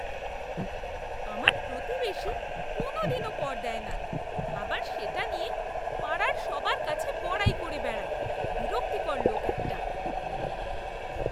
আমার প্রতিবেশী কোনওদিনও কর দেয় না, আবার সেটা নিয়ে পাড়ার সবার কাছে বড়াই করে বেড়ায়। বিরক্তিকর লোক একটা!